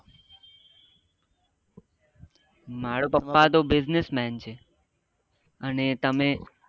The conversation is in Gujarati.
મારો પપ્પા તો business man છે અને તમે